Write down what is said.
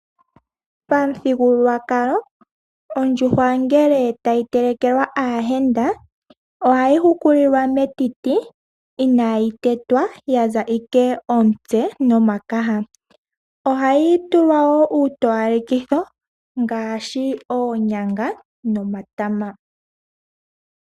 Pamuthigululwakalo ondjuhwa ngele tayi telekelwa aayenda ohayi hukulilwa metiti inaayi tetwa, ya za ashike omutse nomakaha, ohayi tulwa woo uutowalekitho ngaashi oonyanga nomatama.